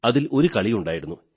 അതിൽ ഒരു കളിയുണ്ടായിരുന്നു